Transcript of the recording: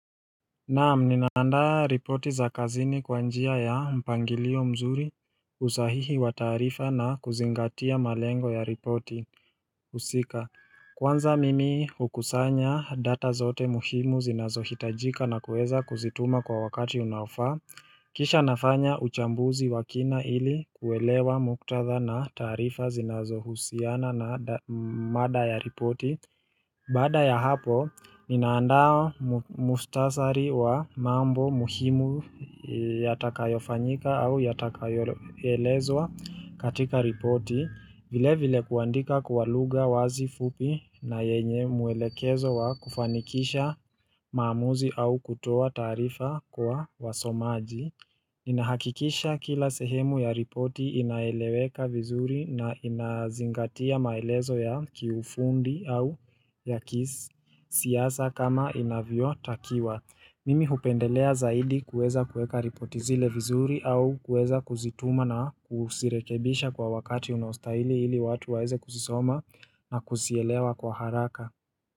Naam, ninaandaa ripoti za kazini kwa njia ya mpangilio mzuri usahihi wa taarifa na kuzingatia malengo ya ripoti husika Kwanza mimi hukusanya data zote muhimu zinazohitajika na kuweza kuzituma kwa wakati unaofaa Kisha nafanya uchambuzi wa kina ili kuelewa muktadha na taarifa zinazohusiana na mada ya ripoti Baada ya hapo, ninaandaa mukhtasari wa mambo muhimu yatakayofanyika au yatakayoelezwa katika ripoti, vile vile kuandika kwa lugha wazi fupi na yenye mwelekezo wa kufanikisha maamuzi au kutoa taarifa kwa wasomaji. Ninahakikisha kila sehemu ya ripoti inaeleweka vizuri na inazingatia maelezo ya kiufundi au ya kisi siasa kama inavyotakiwa Mimi hupendelea zaidi kuweza kuweka ripoti zile vizuri au kuweza kuzituma na kuzirekebisha kwa wakati unaostahili ili watu waweze kuzisoma na kuzielewa kwa haraka.